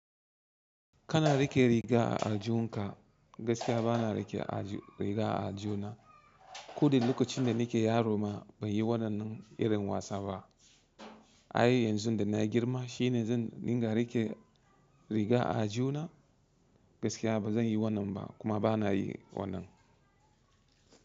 Kana riƙe riga a aljunka gaskiya bana riƙe a riga a aljuna. Koda lokacin da nike yaro ma banyi waɗannan irin wasa ba. Ai yanzu dana girma shine zan dinga riƙe riga a aljuna gaskiya ba zanyi wannan ba kuma bana yi wannan.